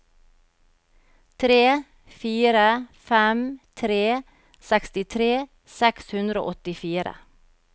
tre fire fem tre sekstitre seks hundre og åttifire